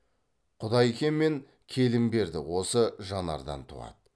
құдайке мен келімберді осы жанардан туады